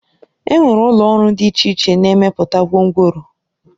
Enwere ụlọ ọrụ dị iche iche na-emepụta gwongworo